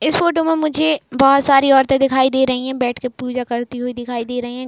इस फोटो में मुझे बहोत सारी औरते दिखाइ दे रही हैं। बैठ के पूजा करती हुई दिखाई दे रही हैं।